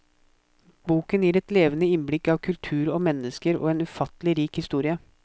Boken gir et levende innblikk av kultur og mennesker og en ufattelig rik historie.